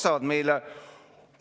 See ei ole meile kuidagi kasuks.